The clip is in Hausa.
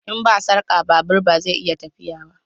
In ba sarka babur ba zai iya tafiya ba